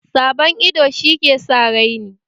Sabon ido shi ke sa raini